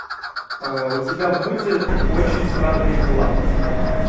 у тебя будет очень странные дела